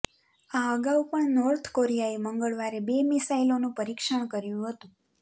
આ અગાઉ પણ નોર્થ કોરિયાએ મંગળવારે બે મિસાઈલોનું પરિક્ષણ કર્યું હતું